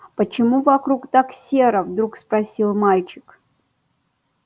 почему вокруг так серо вдруг спросил мальчик